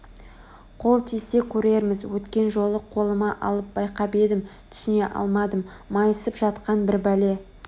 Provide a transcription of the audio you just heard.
Қол тисе көрерміз Өткен жолы қолыма алып байқап едім түсіне алмадым Майысып жатқан бір бәле